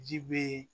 Ji be